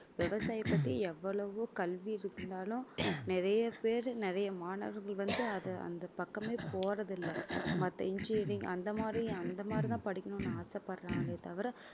விவசாய பத்தி எவ்வளவோ கல்வி இருந்தாலும் நிறைய பேர் நிறைய மாணவர்கள் வந்து அத அந்த பக்கமே போறதில்லை மத்த engineering அந்த மாரி அந்த மாதிரிதான் படிக்கணும்ன்னு ஆசைப்படுறாங்களே தவிர